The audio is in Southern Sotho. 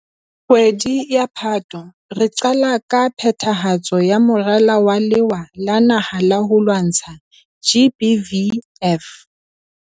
Kgwedi ya Phato, re qala ka phethahatso ya morala wa Lewa la Naha la ho lwantsha GBVF.